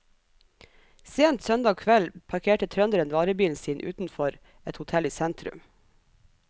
Sent søndag kveld parkerte trønderen varebilen sin utenfor et hotell i sentrum.